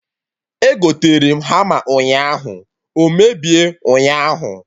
Egotere m hama ụnyaahụ, o mebie ụnyaahụ